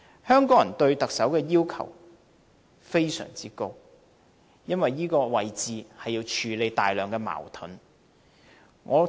香港人對特首要求非常高，因為這個位置要處理大量矛盾。